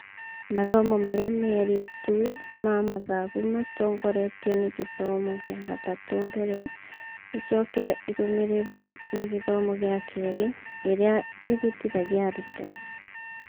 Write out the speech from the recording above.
Mathomo marĩa merĩ tu ma mathabu matongoretio nĩ gĩthomo gĩa gatatũ mbere, ĩcoke ĩrũmĩrĩrwo nĩ gĩthomo gĩa kerĩ, ĩrĩa ĩhĩtithagia arutwo.